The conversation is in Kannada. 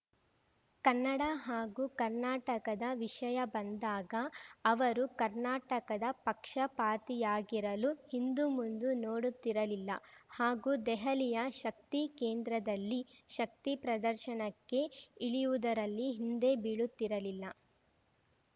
ಕನ್ನಡ ಹಾಗೂ ಕರ್ನಾಟಕದ ವಿಷಯ ಬಂದಾಗ ಅವರು ಕರ್ನಾಟಕದ ಪಕ್ಷಪಾತಿಯಾಗಿರಲು ಹಿಂದುಮುಂದು ನೋಡುತ್ತಿರಲಿಲ್ಲ ಹಾಗೂ ದೆಹಲಿಯ ಶಕ್ತಿಕೇಂದ್ರದಲ್ಲಿ ಶಕ್ತಿ ಪ್ರದರ್ಶನಕ್ಕೆ ಇಳಿಯುವುದರಲ್ಲಿ ಹಿಂದೆ ಬೀಳುತ್ತಿರಲಿಲ್ಲ